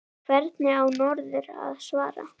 Hvernig á norður að svara?